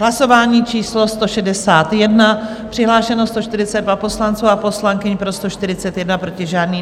Hlasování číslo 161, přihlášeno 142 poslanců a poslankyň, pro 141, proti žádný.